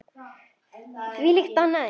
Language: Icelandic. Þvílíkt og annað eins.